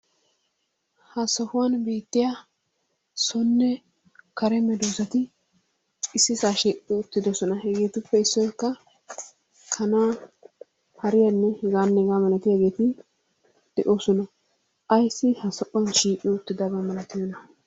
Ha sohuwan beetiya sonne kare meeddoosati ississaa shiiqqi uttiddossona, hegeetuppe issoykka kanaa hariyanne hegaanne hegaa malatiyageeti de'oosona. Ayssi ha sohuwan shiiqqi uttidabaa malatiyona?